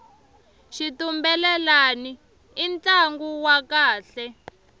xitumbelelani i ntlangu wa kahle